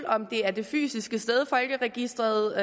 om det er det fysiske sted folkeregisteret